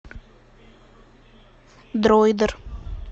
дройдер